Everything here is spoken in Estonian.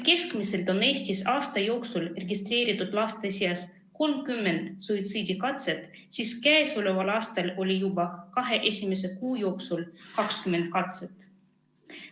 Keskmiselt on Eestis aasta jooksul laste seas registreeritud 30 suitsiidikatset, kuid sel aastal oli juba kahe esimese kuu jooksul 20 katset.